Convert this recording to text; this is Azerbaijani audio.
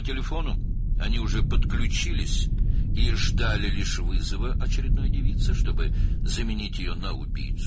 Onun telefonuna artıq qoşulmuşdular və növbəti qızı qatilə dəyişmək üçün yalnız zəng gözləyirdilər.